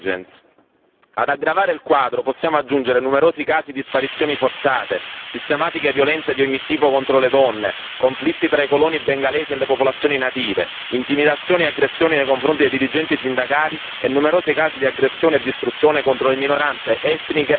Ad aggravare il quadro possiamo aggiungere numerosi casi di sparizioni forzate, sistematiche violenze di ogni tipo contro le donne, conflitti tra i coloni bengalesi e le popolazioni native, intimidazioni e aggressioni nei confronti dei dirigenti sindacali e numerosi casi di aggressione e distruzione contro le minoranze etniche e religiose.